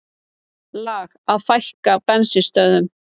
Lag að fækka bensínstöðvum